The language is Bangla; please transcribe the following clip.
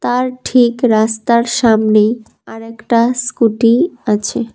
আর ঠিক রাস্তার সামনেই আর একটা স্কুটি আছে।